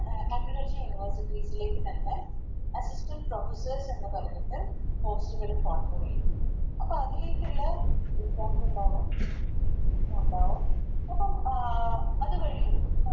Agriculture university ൽ തന്നെ Assistant professors എന്ന് പറഞ്ഞിട്ട് അപ്പൊ അതിലെക്കുള്ളെ ഇണ്ടാവും ഇണ്ടാവും അത് കഴിഞ്ഞ്